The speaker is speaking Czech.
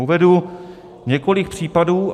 Uvedu několik případů.